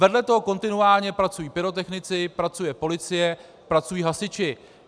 Vedle toho kontinuálně pracují pyrotechnici, pracuje policie, pracují hasiči.